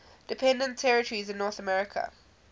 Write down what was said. dependent territories in north america